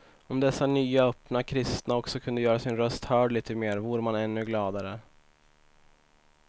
Om dessa nya öppna kristna också kunde göra sin röst hörd lite mer vore man ännu gladare.